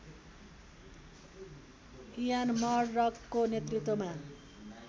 Ian मर्डकको नेतृत्वमा